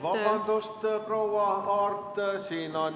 Vabandust, proua Aart!